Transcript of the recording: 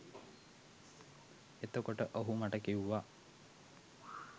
එතකොට ඔහු මට කිව්වා